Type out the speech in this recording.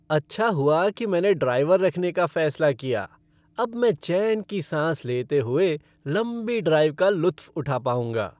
अच्छा हुआ कि मैंने ड्राइवर रखने का फैसला किया। अब मैं चैन की सांस लेते हुए लंबी ड्राइव का लुत्फ़ उठा पाऊँगा।